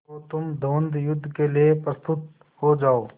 तो तुम द्वंद्वयुद्ध के लिए प्रस्तुत हो जाओ